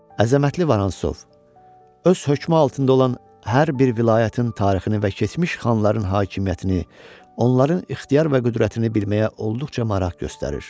Əzəmətli Vorontsov öz hökmü altında olan hər bir vilayətin tarixini və keçmiş xanların hakimiyyətini, onların ixtiyar və qüdrətini bilməyə olduqca maraq göstərir.